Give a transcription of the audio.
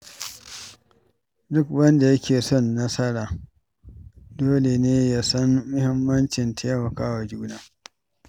Duk wanda yake son yin nasara dole ne ya san mahimmancin taimakawa juna.